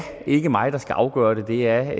ikke mig der skal afgøre det det er